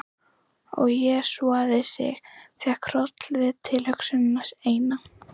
Og jesúsaði sig, fékk hroll við tilhugsunina eina.